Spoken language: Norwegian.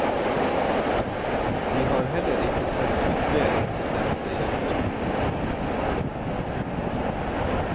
De har heller ikke sendt ut brev til dem det gjelder.